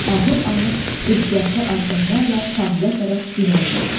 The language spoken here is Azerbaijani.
Ağır-ağır ehtiyatlı addımlarla sahilə tərəf irəlilədi.